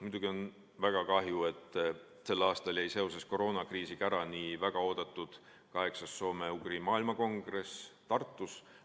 Muidugi on väga kahju, et sel aastal jäi seoses koroonakriisiga ära nii väga oodatud kaheksas soome-ugri rahvaste maailmakongress Tartus.